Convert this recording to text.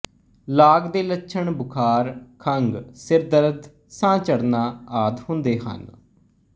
ਲਾਗ ਦੇ ਲੱਛਣ ਬੁਖ਼ਾਰ ਖੰਘ ਸਿਰ ਦਰਦ ਸਾਹ ਚੜ੍ਹਨਾ ਆਦਿ ਹੁੰਦੇ ਹਨ